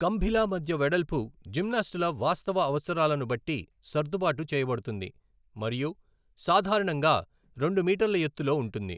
కంభిల మధ్య వెడల్పు జిమ్నాస్టుల వాస్తవ అవసరాలను బట్టి సర్దుబాటు చేయబడుతుంది, మరియు సాధారణంగా రెండు మీటర్ల ఎత్తులో ఉంటుంది.